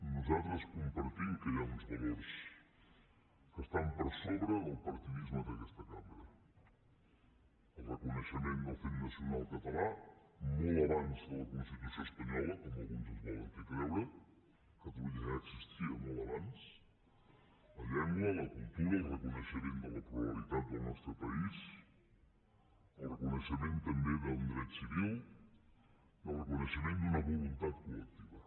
nosaltres compartim que hi ha uns valors que estan per sobre del partidisme d’aquesta cambra el reconeixement del fet nacional català molt abans de la constitució espanyola com alguns ens volen fer creure catalunya ja existia molt abans la llengua la cultura el reconeixement de la pluralitat del nostre país el reconeixement també d’un dret civil i el reconeixement d’una voluntat col·lectiva